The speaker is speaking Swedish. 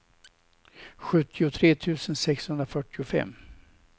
sjuttiotre tusen sexhundrafyrtiofem